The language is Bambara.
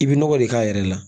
I bi nɔgɔ de k'a yɛrɛ la